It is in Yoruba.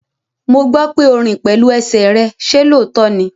Mo gbọ́ pé o rìn pẹ̀lú ẹsẹ̀ rẹ, ṣe lóòótọ́ ní?